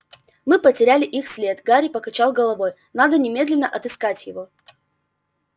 мы потеряли их след гарри покачал головой надо немедленно отыскать его